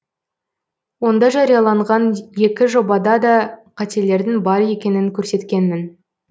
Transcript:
онда жарияланған екі жобада да қателердің бар екенін көрсеткенмін